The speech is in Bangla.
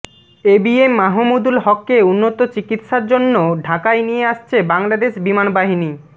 এ বি এম মাহমুদুল হককে উন্নত চিকিৎসার জন্য ঢাকায় নিয়ে আসছে বাংলাদেশ বিমান বাহিনী